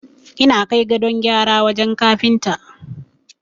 Ina kai gadon gyara wajen Kafinta.